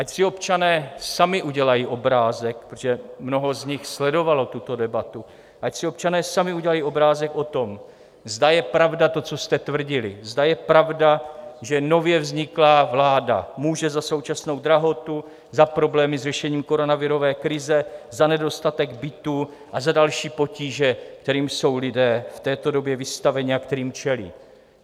Ať si občané sami udělají obrázek, protože mnoho z nich sledovalo tuto debatu, ať si občané sami udělají obrázek o tom, zda je pravda to, co jste tvrdili, zda je pravda, že nově vzniklá vláda může za současnou drahotu, za problémy s řešením koronavirové krize, za nedostatek bytů a za další potíže, kterým jsou lidé v této době vystaveni a kterým čelí.